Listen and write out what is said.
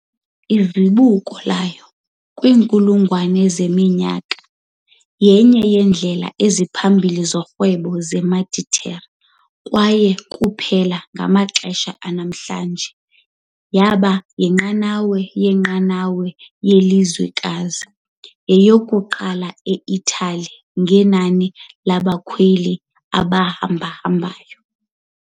Izibuko layo, kwinkulungwane yeminyaka enye yeendlela eziphambili zorhwebo zeMeditera kwaye kuphela ngamaxesha anamhlanje yaba yinqanawa yenqanawa yelizwekazi, yeyokuqala e-Italy ngenani labakhweli abahambahambayo.